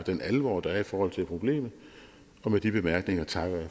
den alvor der er i forhold til problemet med de bemærkninger takker jeg